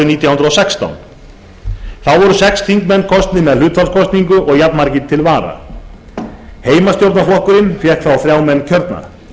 nítján hundruð og sextán þá voru sex þingmenn kosnir með hlutfallskosningu og jafnmargir til vara heimastjórnarflokkurinn fékk þrjá menn kjörna